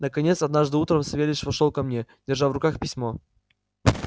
наконец однажды утром савельич вошёл ко мне держа в руках письмо